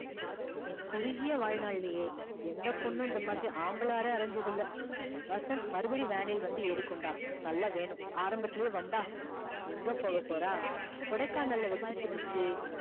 என் குறுகிய வாழ்நாள் லையே எந்த பொண்ணும் இந்த மாதிரி ஆம்பல அர அரஞ்சது இல்ல வசந்த் மறுபடியும் van இல் வந்து ஏறிக்கொண்டான் நல்லா வேணும் ஆரம்பத்துலையே வம்பா எங்க போக போறா கொடைக்கானல் ல வச்சி புடிச்சி